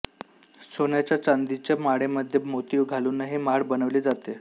सोन्याच्या चांदीच्या माळेमध्ये मोती घालूनही माळ बनवली जाते